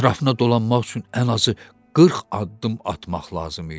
Ətrafına dolanmaq üçün ən azı 40 addım atmaq lazım idi.